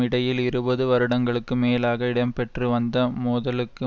இடையில் இருபது வருடங்களுக்கும் மேலாக இடம்பெற்று வந்த மோதலுக்கு